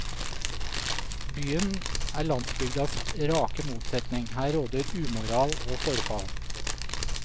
Byen er landsbygdas rake motsetning, her råder umoral og forfall.